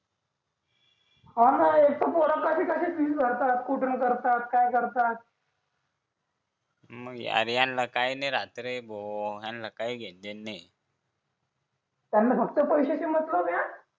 हा ना एक तर पोरासाठी फीस भरतात कुठून करतात काय करतात मग अरे यांना काय नाही राहत रे भाऊ यांना काय घेणं देणं नाही त्यांना फक्त पैशाची मतलब आहे हा